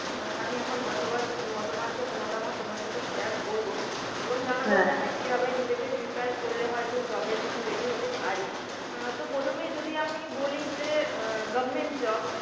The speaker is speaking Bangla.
অ্যাঁ আমি আমার মতামত মতামত মতামত তোমার সাথে share করব এবং জানাব যে আমরা কীভাবে নিজেকে prepare করলে হয়তো job এর জন্য ready হতে পারি, অ্যাঁ তো প্রথমেই যদি আমি বলি যে অ্যাঁ government job